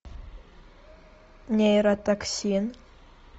нейротоксин